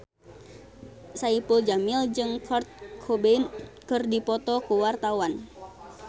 Saipul Jamil jeung Kurt Cobain keur dipoto ku wartawan